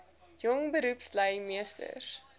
jong beroepslui meesters